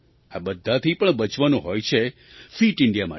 આ બધાથી પણ બચવાનું હોય છે ફિટ ઇન્ડિયા માટે